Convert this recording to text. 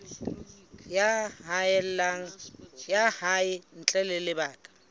ya hae ntle ho lebaka